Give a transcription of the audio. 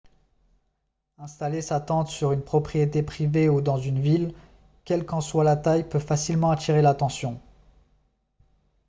installer sa tente sur une propriété privée ou dans une ville quelle qu'en soit la taille peut facilement attirer l'attention